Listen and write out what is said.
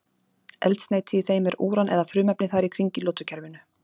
eldsneyti í þeim er úran eða frumefni þar í kring í lotukerfinu